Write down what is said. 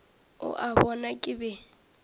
o a bona ke be